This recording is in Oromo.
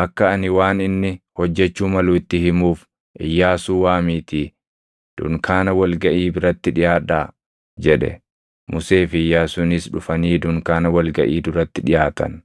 Akka ani waan inni hojjechuu malu itti himuuf Iyyaasuu waamiitii dunkaana wal gaʼii biratti dhiʼaadhaa” jedhe. Musee fi Iyyaasuunis dhufanii dunkaana wal gaʼii duratti dhiʼaatan.